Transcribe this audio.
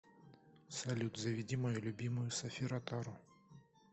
салют заведи мою любимую софи ротару